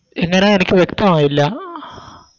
എങ്ങനെ എനിക്ക് വ്യക്തമായില്ല